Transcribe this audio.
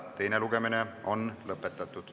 Teine lugemine on lõpetatud.